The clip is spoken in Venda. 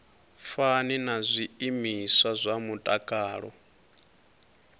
fani na zwiimiswa zwa mutakalo